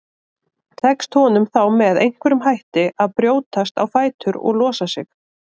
Tekst honum þá með einhverjum hætti að brjótast á fætur og losa sig.